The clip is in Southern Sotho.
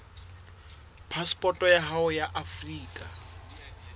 phasepoto ya hao ya afrika